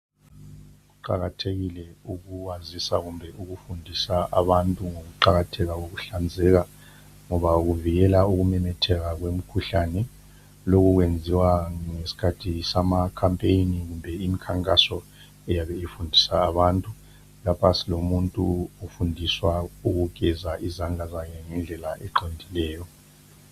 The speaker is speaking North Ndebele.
Kuqakathekile ukwazisa kumbe ukufundisa abantu ngokuqakatheka kokuhlanzeka ngoba kuvikela ukumemetheka kwemikhuhlame . Lokho kwenziwa ngesikathi samakhapeni kumbe imikhankaso eyabe ifundisa abantu. Lapha silomuntu ofundiswa ukugeza izandla zakhe ngendlela eqondileyo.